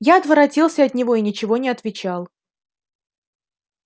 я отворотился от него и ничего не отвечал